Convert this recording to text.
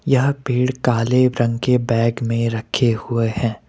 यह पेड़ काले रंग के बैग में रखे हुए हैं।